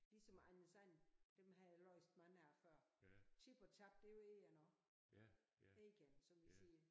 Ligesom Anders And dem har jeg læst mange af før Chip og Chap det er jo egern også egern som vi siger